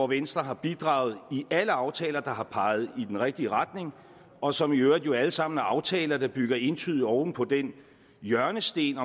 venstre har bidraget i alle aftaler der har peget i den rigtige retning og som i øvrigt alle sammen er aftaler der bygger entydigt oven på den hjørnesten